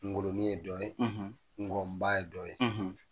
ŋolonin ye dɔ n ŋƆnba ye dɔ ye.